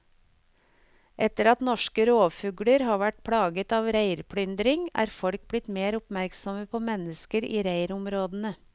Etter at norske rovfugler har vært plaget av reirplyndring, er folk blitt mer oppmerksomme på mennesker i reirområdene.